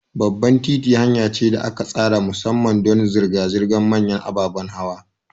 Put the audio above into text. Babban titi hanya ce da aka tsara musamman don zirga-zirgar manyan ababen hawa.